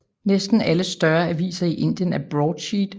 Næsten alle større aviser i Indien er i broadsheet